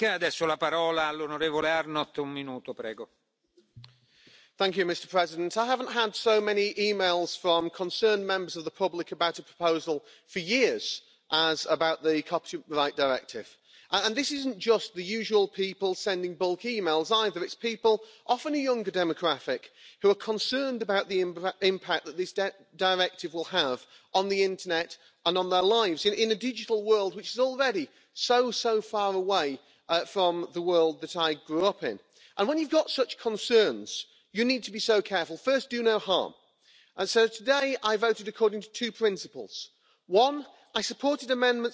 Mr President, I voted in favour of the copyright directive. Today was one of the most difficult and complex votes for me, at least. I don't believe we have the perfect outcome, in fact I'm not even sure there is a perfect solution, but I believe we have established a balance between the rights of creators and a free internet, and we have sent a strong political message that property rights must be enforced on the internet as well as everywhere else. Creators,